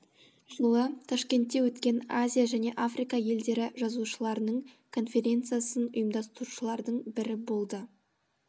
жылы ташкентте өткен азия және африка елдері жазушыларының конференциясын ұйымдастырушылардың бірі болды